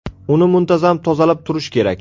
Uni muntazam tozalab turish kerak.